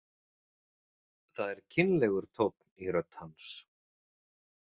Það er kynlegur tónn í rödd hans.